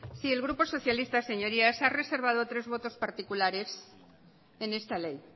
sí el grupo socialista ha reservado tres votos particulares en esta ley